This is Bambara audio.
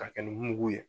K'a kɛ ni mugu ye